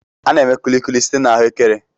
A na-eme Kulikuli site na Ahụekere.